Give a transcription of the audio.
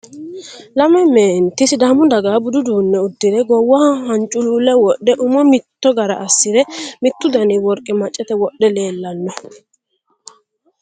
Lame meenitti sidaammu daggaha budu uddune uddirre gowwaho haniculule wodhe. ummo mitto Garra asirre. Mittu Dani woriqqe macatte wodhe leelanno